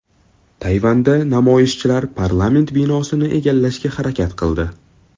Tayvanda namoyishchilar parlament binosini egallashga harakat qildi.